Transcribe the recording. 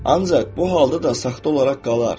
Ancaq bu halda da saxta olaraq qalar.